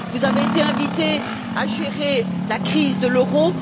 Vous avez été invité à gérer la crise de l'euro.